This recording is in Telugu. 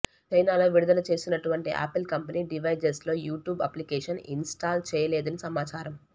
చైనాలో విడుదల చేసినటువంటి ఆపిల్ కంపెనీ డివైజెస్లలో యూట్యాబ్ అప్లికేషన్ ఇన్స్టాల్ చేయలేదని సమాచారం